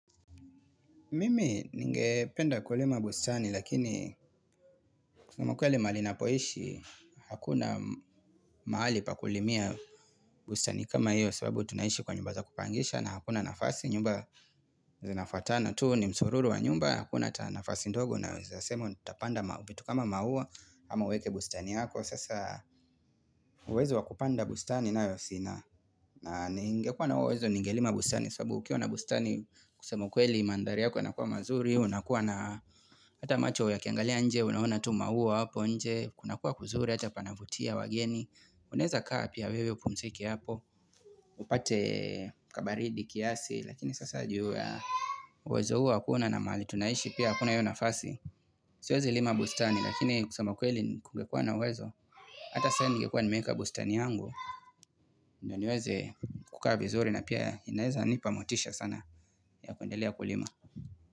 Mimi ninge penda kulima bustani lakini kusema ukweli mahali napoishi hakuna maali pakulimia bustani kama hiyo sababu tunaishi kwa nyumba za kupangisha na hakuna nafasi nyumba zinafatana tuu ni msururu wa nyumba hakuna ta nafasi ndogo na unaweza sema tutapanda vitu kama maua ama uweke bustani yako sasa uwezo wakupanda bustani nayo sina na ninge kwa na uwezo ninge lima bustani sababu ukiwa na bustani kusema ukweli mandhari yako yanakuwa mazuri unakuwa na hata macho ya kiangalia nje Unaona tu maua hapo nje Kunakuwa kuzuri hata panavutia wageni Unaweza kaa pia wewe upumzike hapo upate kabaridi kiasi Lakini sasa juu ya uwezo huo hakuna na mali tunaishi pia hakuna hiyo nafasi Siwezi lima bustani lakini kusema kweli kungekuwa na uwezo Hata sayo ningekua nimeweka bustani yangu Naniweze kukua vizuri na pia inaweza nipamotisha sana ya kuendelea kulima.